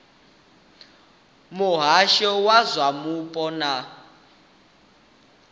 muhasho wa zwa mupo na